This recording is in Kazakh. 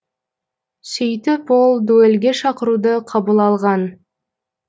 сөйтіп ол дуэльге шақыруды қабыл алған